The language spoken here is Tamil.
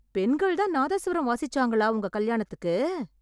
பெண்கள் தான் நாதஸ்வரம் வாசிச்சாங்களா உங்க கல்யாணத்துக்கு?